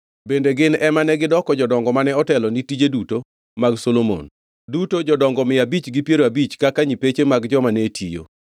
Bende gin ema negidoko jodongo mane otelo ni tije duto mag Solomon, duto jodongo mia abich gi piero abich kaka nyipeche mag joma ne tiyo.